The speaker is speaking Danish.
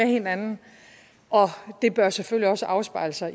hinanden og det bør selvfølgelig også afspejle sig